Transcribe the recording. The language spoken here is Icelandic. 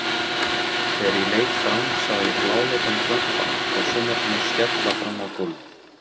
Þegar ég leit fram sá ég bláleitan glampann frá sjónvarpinu skella fram á gólfið.